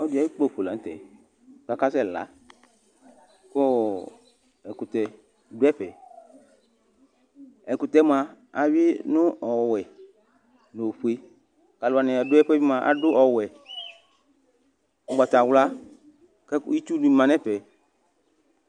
Ɔlɔdi ayu kpafo lanʋtɛ kʋ akasɛ kʋ ɛkʋtɛ dʋ ɛfɛ ɛkʋutɛ mʋa awinʋ ɔwɛ nʋ ofue kʋ ́alʋ wani dʋ ɛfʋɛ mʋa adʋ ɔwɛ ugbatawla kʋ itsu manʋ ɛfɛ